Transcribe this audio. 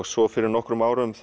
svo fyrir nokkrum árum